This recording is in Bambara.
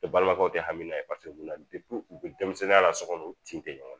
E balimakɛw tɛ hamina ye paseke na u bɛ denmisɛnninya la sɔ kɔnɔ u tin tɛ ɲɔgɔn